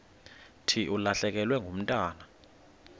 thi ulahlekelwe ngumntwana